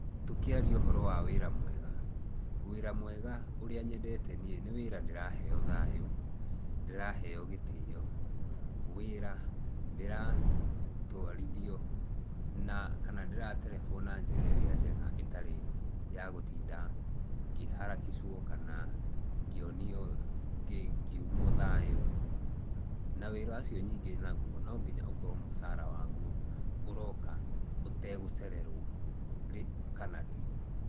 Tũkĩaria ũhoro wa wĩra mwega, wĩra mwega ũrĩa nyendete niĩ nĩ wĩra ndĩraheo thayu, ndĩraheo gitĩyo. Wĩra ndĩratwarithio na kana ndĩraterebwo na njĩra ĩria njega ĩtarĩ ya gutinda ngĩharakicwo, kana ngĩonio ngĩ ngiũmwo thayũ. Na wĩra ũcio ningĩ nagũo nonginya ũkorwo mũcara wagũo ũroka ũtegũcererwo rĩ kana rĩ.